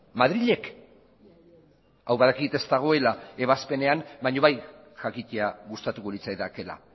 madrilek hau badakit ez dagoela ebazpenean baina bai jakitea gustatuko litzaidakeela